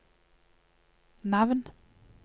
navn